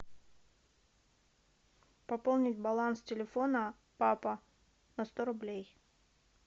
пополнить баланс телефона папа на сто рублей